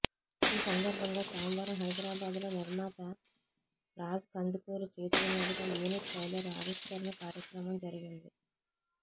ఈ సందర్భంగా సోమవారం హైదరాబాద్ లో నిర్మాత రాజ్ కందుకూరి చేతుల మీదుగా యూనిట్ ట్రైలర్ ఆవిష్కరణ కార్యక్రమం జరిపింది